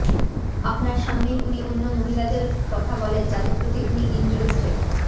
আপনার সামনেই উনি অন্য মহিলাদের কথা বলেন যাদের প্রতি উনি ইন্টেরেস্টেড